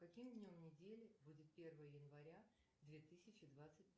каким днем недели будет первое января две тысячи двадцать